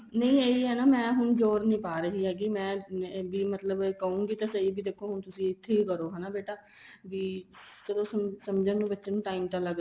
ਨਹੀਂ ਇਹੀ ਹੈ ਮੈਂ ਹੁਣ ਜ਼ੋਰ ਨਹੀਂ ਪਾ ਰਹੀ ਹੈਗੀ ਮੈਂ ਵੀ ਮਤਲਬ ਕਹੁਗੀ ਤਾਂ ਸਹੀ ਵੀ ਦੇਖੋ ਹੁਣ ਤੁਸੀਂ ਇੱਥੇ ਹੀ ਕਰੋ ਹਨਾ ਬੇਟਾ ਵੀ ਚਲੋ ਸਮਝਣ ਦੇ ਵਿੱਚ ਬੱਚੇ ਨੂੰ time ਤਾਂ ਲੱਗਦਾ